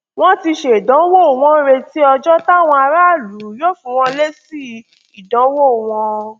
wọn ti ṣèdánwò wọn ń retí ọjọ táwọn aráàlú yóò fún wọn lésì ìdánwò wọn